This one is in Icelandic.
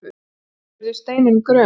spurði Steinunn gröm.